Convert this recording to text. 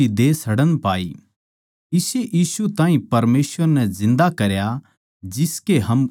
इस्से यीशु ताहीं परमेसवर नै जिन्दा करया जिसके हम सारे गवाह सां